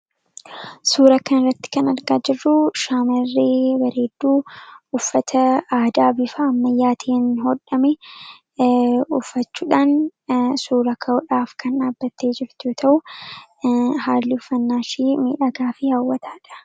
Suura kana irratti kan argaa jirru shaamarree bareedduu uffata aadaa bifa ammayyaatiin hodhame ufachuudhaan suura ka'udhaaf kan dhaabbattee jirtu yoo ta'u haalli ufannaa ishii miidhagaa fi haawwataadha.